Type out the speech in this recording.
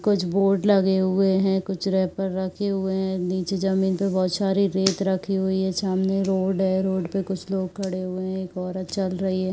कुछ बोर्ड लगे हुए हैं। कुछ रैपर रखे हुए हैं। निचे जमीन पे बोहोत सारे रेत रखे हुए हैं। सामने रोड है। रोड पे कुछ लोग खड़े हुए हैं। एक औरत चल रही है।